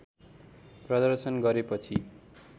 प्रदर्शन गरेपछि